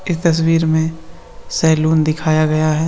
इस तस्वीर में सैलून दिखाया गया है।